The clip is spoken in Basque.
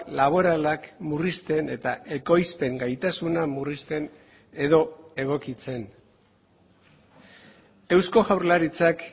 laboralak murrizten eta ekoizpen gaitasuna murrizten edo egokitzen eusko jaurlaritzak